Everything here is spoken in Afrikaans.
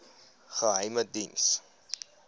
geheimediens